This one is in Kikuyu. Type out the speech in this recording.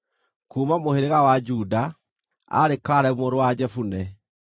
kuuma mũhĩrĩga wa Juda, aarĩ Kalebu mũrũ wa Jefune;